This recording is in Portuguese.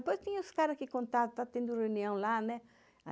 Depois tinha os caras que contavam, tá tendo reunião lá, né?